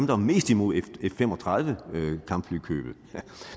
var mest imod f fem og tredive kampflykøbet